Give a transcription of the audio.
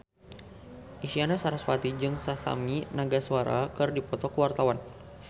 Isyana Sarasvati jeung Masami Nagasawa keur dipoto ku wartawan